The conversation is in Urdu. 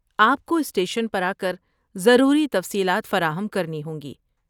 آپ کو اسٹیشن پر آکر ضروری تفصیلات فراہم کرنی ہوں گی۔